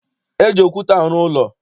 E ji okwute arụ ụlọ.